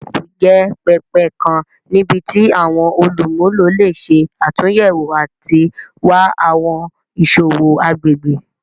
Yelp jẹ pẹpẹ kan nibiti awọn olumulo le ṣe atunyẹwo ati wa awọn iṣowo agbegbe.